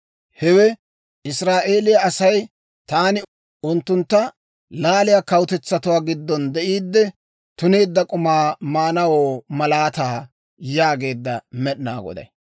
Hewe Israa'eeliyaa Asay taani unttuntta laaliyaa kawutetsatuwaa giddon de'iiddi, tuneedda k'umaa maanawoo malaataa» yaageedda Med'inaa Goday.